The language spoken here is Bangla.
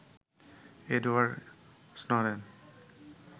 Edward Snowden